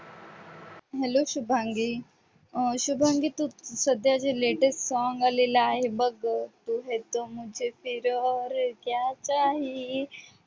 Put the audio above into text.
Hello Shubhangi, अं शुभांगी तू सध्या जे latest song आलेलं आहे बघ, तू है तो मुझे फिर और क्या चाहीये